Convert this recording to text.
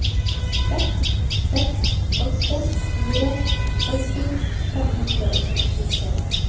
seks seks åtte fire førti fem hundre og sekstitre